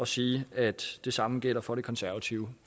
sige at det samme gælder for det konservative